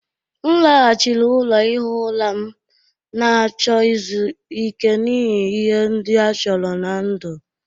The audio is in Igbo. M laghachiri ụlọ ihi ụra m, na-achọ izu ike n'ihi ihe ndị a chọrọ ná ndụ.